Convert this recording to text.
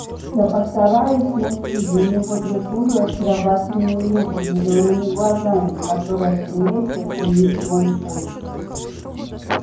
я постараюсь найти для него другую очаровательную леди с зелёными глазами которая сумеет оценить мой вкус